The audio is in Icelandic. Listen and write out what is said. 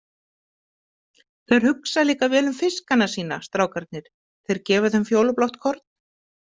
Þeir hugsa líka vel um fiskana sína, strákarnir, þeir gefa þeim fjólublátt korn.